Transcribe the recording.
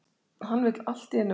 Hann vill allt í einu verða